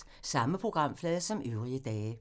Samme programflade som øvrige dage